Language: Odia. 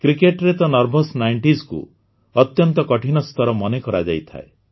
କ୍ରିକେଟରେ ତ ନର୍ଭସ୍ ନାଇଂଟିଜ୍ କୁ ଅତ୍ୟନ୍ତ କଠିନ ସ୍ତର ମନେ କରାଯାଇଥାଏ